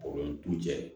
du cɛ